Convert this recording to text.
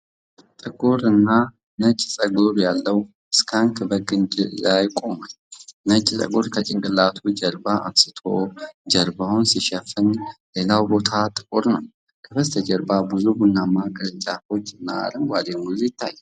ጥቁርና ነጭ ፀጉር ያለው ስካንክ በግንድ ላይ ቆሟል። ነጭ ፀጉሩ ከጭንቅላቱ ጀርባ አንስቶ ጀርባውን ሲሸፍን፣ ሌላው ቦታ ጥቁር ነው። ከበስተጀርባ ብዙ ቡናማ ቅርንጫፎችና አረንጓዴ ሙዝ ይታያል።